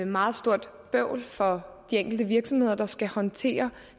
meget stort bøvl for de enkelte virksomheder der skal håndtere